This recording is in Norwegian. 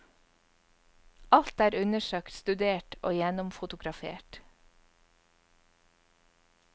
Alt er undersøkt, studert og gjennomfotografert.